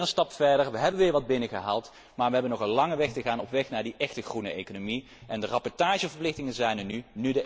We zetten weer een stap verder, we hebben weer wat binnengehaald, maar we hebben nog een lange weg te gaan op weg naar die echte groene economie. De rapportageverplichtingen zijn